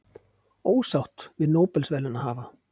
Ósátt við Nóbelsverðlaunahafa